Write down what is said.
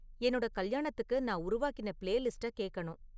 என்னோட கல்யாணத்துக்கு நான் உருவாக்கின பிளேலிஸ்ட்டக் கேக்கணும்